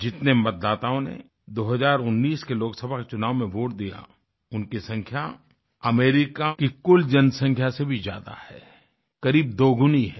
जितने मतदाताओं ने 2019 के लोकसभा चुनाव में वोट दिया उनकी संख्या अमेरिका की कुल जनसंख्या से भी ज्यादा है करीब दोगुनी है